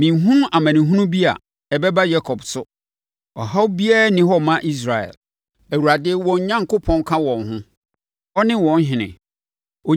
“Menhunu amanehunu bi a ɛbɛba Yakob so. Ɔhaw biara nni hɔ mma Israel! Awurade, wɔn Onyankopɔn ka wɔn ho. Ɔne wɔn ɔhene!